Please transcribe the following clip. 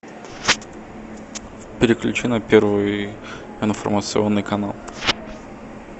переключи на первый информационный канал